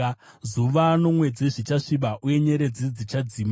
Zuva nomwedzi zvichasviba uye nyeredzi dzichadzima.